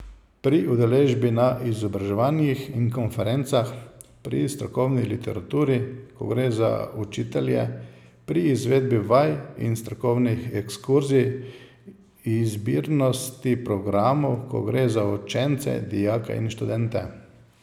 Pri udeležbi na izobraževanjih in konferencah, pri strokovni literaturi, ko gre za učitelje, pri izvedbi vaj in strokovnih ekskurzij, izbirnosti programov, ko gre za učence, dijake in študente.